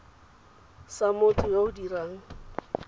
sa motho yo o dirang